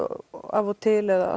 af og til eða